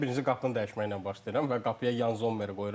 Mən isə birinci qapını dəyişməklə başlayıram və qapıya Yan Zommeri qoyuram.